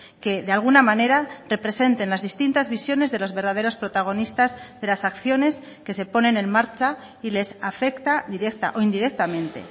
que de alguna manera representen las distintas visiones de los verdaderos protagonistas de las acciones que se ponen en marcha y les afecta directa o indirectamente